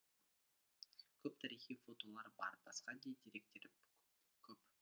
көп тарихи фотолар бар басқа да деректер көп